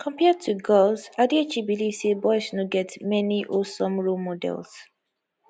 compared to girls adichie believe say boys no get many wholesome role models